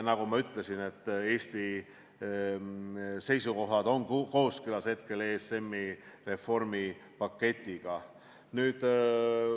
Nagu ma ütlesin, Eesti seisukohad on hetkel kooskõlas ESM-i reformi paketiga.